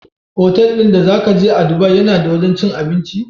Otal din da zaka je a dubai yAna da wajan cin abinci?